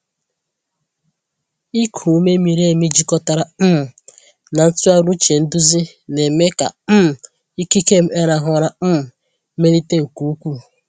Ịkụ ume miri emi jikọtara um na ntụgharị uche nduzi na-eme ka um ikike m ịrahụ ụra um melite nke ukwuu.